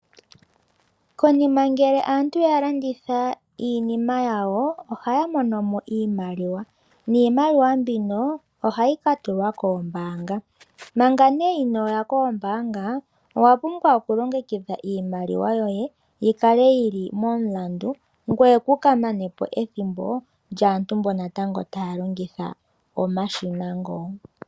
Konima ngele aantu ya landitha iinima yawo oha ya mono mo iimaliwa. Iimaliwa mbino ohayi ka tulwa kombaanga. Manga nduno inooya kombaanga owa pumbwa okulongekidha iimaliwa yoye omasiina ngo.